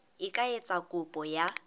e ka etsa kopo ya